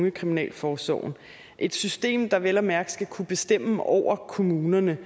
ungekriminalforsorgen et system der vel at mærke skal kunne bestemme over kommunerne